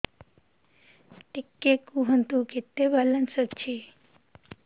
ଟିକେ କୁହନ୍ତୁ କେତେ ବାଲାନ୍ସ ଅଛି